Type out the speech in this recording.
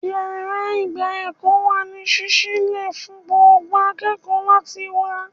Yàrá ìgba ẹ̀kọ́ wà ní sísí lẹ̀ fún gbogbo akẹ́kọ̀ọ́ láti wá